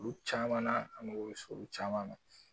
Olu caman na an mago bɛ olu caman ma.